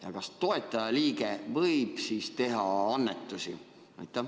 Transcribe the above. Ja kas toetajaliige võib teha annetusi?